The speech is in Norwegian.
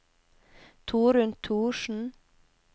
Torunn Thorsen